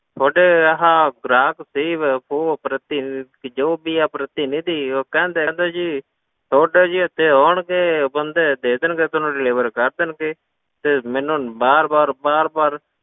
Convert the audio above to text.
ਤੁਹਾਡੇ ਆਹ ਗ੍ਰਾਹਕ ਸੇਵਾ ਪੋਹ ਪ੍ਰਤੀਨਿਧੀ ਜੋ ਵੀ ਹੈ ਪ੍ਰਤੀਨਿਧੀ ਉਹ ਕਹਿੰਦੇ ਕਹਿੰਦੇ ਜੀ ਤੁਹਾਡੇ ਜੀ ਇੱਥੇ ਆਉਣਗੇ ਬੰਦੇ ਦੇ ਦੇਣਗੇ ਤੁਹਾਨੂੰ deliver ਕਰ ਦੇਣਗੇ, ਤੇ ਮੈਨੂੰ ਬਾਰ ਬਾਰ ਬਾਰ ਬਾਰ